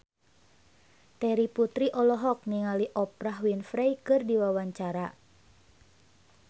Terry Putri olohok ningali Oprah Winfrey keur diwawancara